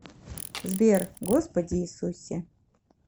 сбер господи иисусе